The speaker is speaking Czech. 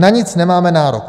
Na nic nemáme nárok.